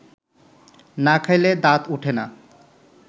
না খাইলে দাঁত ওঠে না